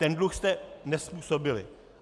Ten dluh jste nezpůsobili.